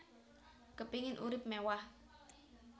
Kepingin urip mewah